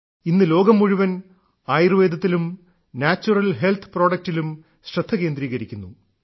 ഇന്ന് ലോകം മുഴുവൻ ആയുർവേദത്തിലും നാച്യുറൽ ഹെൽത്ത് പ്രോഡക്ടിലും ശ്രദ്ധ കേന്ദ്രീകരിക്കുന്നു